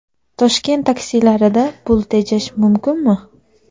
Toshkent taksilarida pul tejash mumkinmi?.